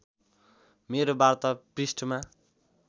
मेरो वार्ता पृष्ठमा